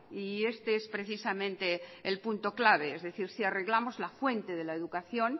y este es precisamente el punto clave es decir si arreglamos la fuente de la educación